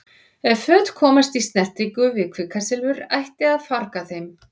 Ef föt komast í snertingu við kvikasilfur ætti að farga þeim.